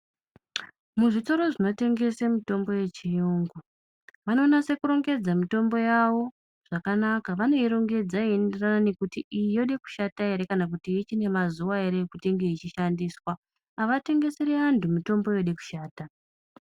Muzvitoro zvinotengese mitombo yechiyungu vanonase kurongeta mitombo yawo zvakanaka vanoirongedza yeienderana nekuti iyi yode kushata ere kana kuti ichiro nemazuwa ere ekuti inge ichishandiswa avatengeseri vantu mitombo yode kushata.